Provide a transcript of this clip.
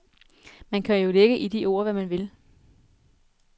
Man kan jo lægge i de ord, hvad man vil.